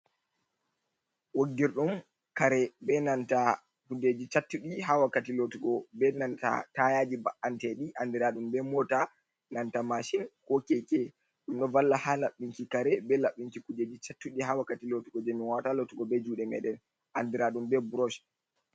Woggir ɗum kare be nanta kujeji cattuɗi ha wakkati lotugo be nan tayaji mba’anteɗi andiraɗum be mota, nanta mashin, ko keke. Ɗum ɗo valla ha laɓɓinki kare be laɓɓinki kujeji cattuɗi ha wakkati lotugo jei min wawata lotugo be juuɗe me ɗen, andiraɗum be brosh.